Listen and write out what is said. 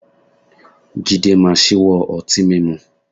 Jídé máa ṣíwọ́ ọtí mímú